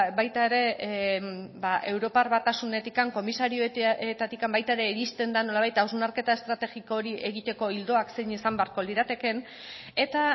baita ere europar batasunetik komisarioetatik baita ere iristen da nolabait hausnarketa estrategiko hori egiteko ildoak zein izan beharko liratekeen eta